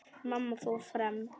Mamma fór fram.